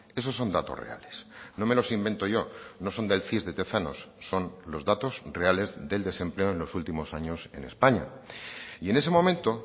esos son datos reales no me los invento yo no son del cis de tezanos son los datos reales del desempleo en los últimos años en españa y en ese momento